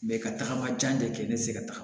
ka tagama jan de kɛ ne te se ka tagama